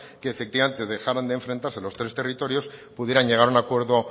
que efectivamente dejaran de enfrentarse los tres territorios pudieran llegar a un acuerdo